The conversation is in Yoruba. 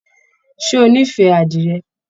Ṣé o n'ifẹ àdirẹ?